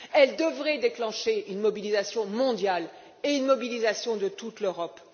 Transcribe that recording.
Cette crise devrait déclencher une mobilisation mondiale et la mobilisation de toute l'Europe.